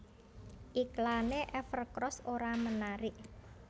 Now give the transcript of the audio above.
Iklane Evercross ora menarik